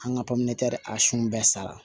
An ka pɔminɛ a sun bɛɛ sara